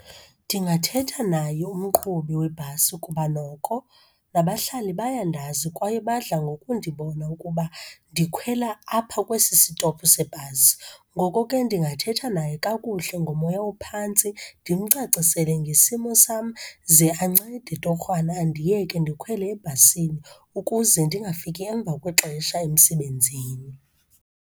Ndingathetha naye umqhubi webhasi ukuba noko nabahlali bayandazi kwaye badla ngoku ndibona ukuba ndikhwela apha kwesi sitophu sebhasi. Ngoko ke ndingathetha naye kakuhle ngomoya ophantsi, ndimcacisele ngesimo sam. Ze ancede torhwana andiyeke ndikhwele ebhasini ukuze ndingafika emva kwexesha emsebenzini.